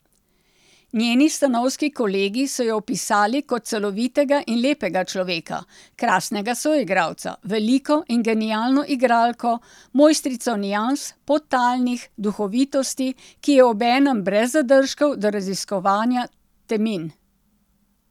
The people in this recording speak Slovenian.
Njeni stanovski kolegi so jo opisali kot celovitega in lepega človeka, krasnega soigralca, veliko in genialno igralko, mojstrico nians, podtalnih, duhovitosti, ki je obenem brez zadržkov do raziskovanja temin.